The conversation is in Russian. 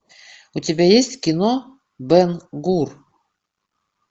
у тебя есть кино бэн гур